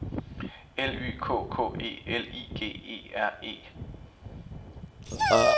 L Y K K E L I G E R E